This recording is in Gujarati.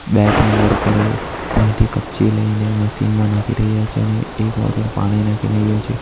બે ત્રણ વર્કરો ત્યાંથી કપચી લઈને મશીનમાં નાખી રહ્યા છે અને એક વર્કર પાણી નાખી રહ્યો છે.